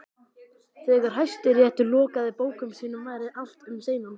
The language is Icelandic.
Þegar Hæstiréttur lokaði bókum sínum væri allt um seinan.